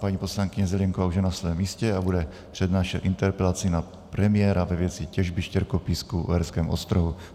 Paní poslankyně Zelienková už je na svém místě a bude přednášet interpelaci na premiéra ve věci těžby štěrkopísku v Uherském Ostrohu.